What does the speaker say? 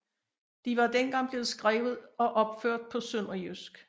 De var dengang blevet skrevet og opført på sønderjysk